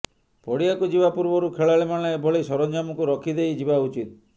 ପଡ଼ିଆକୁ ଯିବା ପୂର୍ବରୁ ଖେଳାଳିମାନେ ଏଭଳି ସରଞ୍ଜାମକୁ ରଖି ଦେଇ ଯିବା ଉଚିତ୍